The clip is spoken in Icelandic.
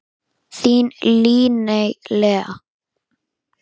Þín Líney Lea.